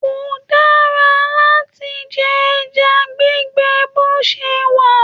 Ko dára láti jẹ ẹja gbígbẹ bo se wa.